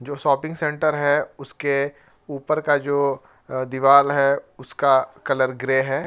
जो shopping centre है उसके ऊपर का जो अह दीवाल है उसका कलर ग्रे है।